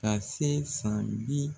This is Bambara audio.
Ka se san bi